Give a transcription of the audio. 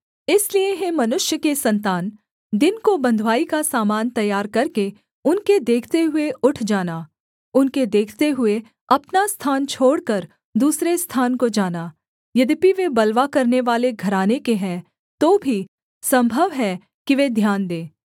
इसलिए हे मनुष्य के सन्तान दिन को बँधुआई का सामान तैयार करके उनके देखते हुए उठ जाना उनके देखते हुए अपना स्थान छोड़कर दूसरे स्थान को जाना यद्यपि वे बलवा करनेवाले घराने के हैं तो भी सम्भव है कि वे ध्यान दें